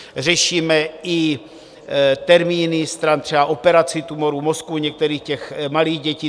Řešíme i termíny stran třeba operací tumoru mozku některých těch malých dětí.